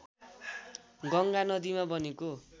गङ्गा नदीमा बनेको